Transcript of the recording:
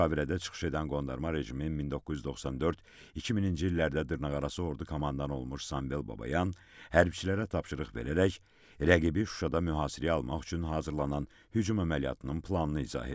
Müşavirədə çıxış edən qondarma rejimin 1994-2000-ci illərdə dırnaqarası ordu komandanı olmuş Sambel Babayan hərbiçilərə tapşırıq verərək rəqibi Şuşada mühasirəyə almaq üçün hazırlanan hücum əməliyyatının planını izah edir.